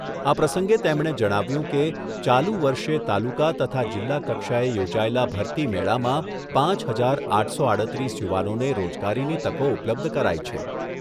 આ પ્રસંગે તેમણે જણાવ્યુંં કે, ચાલુ વર્ષે તાલુકા તથા જિલ્લા કક્ષાએ યોજાયેલા ભરતી મેળામાં પાંચ હજાર આઠસો આડત્રીસ યુવાનોને રોજગારીની તકો ઉપલબ્ધ કરાઈ છે.